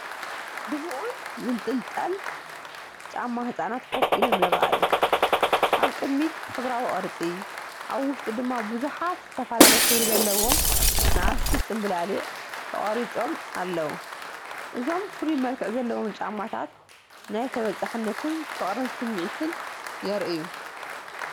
ድሙቕን ዝንጥልጠልን ጫማ ህጻናት ኮፍ ኢሎም ይረኣዩ። ኣብ ቅድሚት ሕብራዊ ቅርጺ ፣ ኣብ ውሽጡ ድማ ብዙሓት ዝተፈላለየ ሕብሪ ዘለዎም ንኣሽቱ ፅምብላሊዕ ተቐሪጾም ኣለዉ። እዞም ፍሉይ መልክዕ ዘለዎም ጫማታት ናይ ተበጻሕነትን ፍቕርን ስምዒት የርእዩ።